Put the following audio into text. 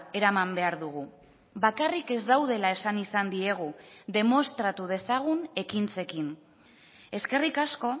eraman behar dugu bakarrik ez daudela esan izan diegu demostratu dezagun ekintzekin eskerrik asko